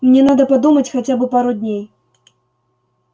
мне надо подумать хотя бы пару дней